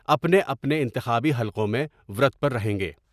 اپنے اپنے انتخابی حلقوں میں ورت پر رہیں گے ۔